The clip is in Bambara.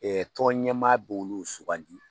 Ɛ tɔnɲɛmaa b'olu sugandi